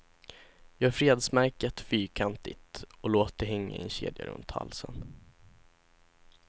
Gör fredsmärket fyrkantigt och låt det hänga i en kedja runt halsen.